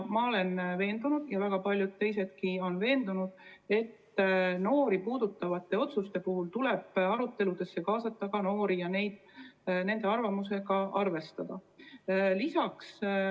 Ma olen veendunud ja väga paljud teisedki on veendunud, et noori puudutavate otsuste puhul tuleb arutelusse kaasata ka neid endid ja nende arvamust tuleb arvestada.